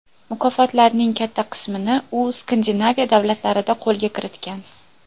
Mukofotlarining katta qismini u Skandinaviya davlatlarida qo‘lga kiritgan.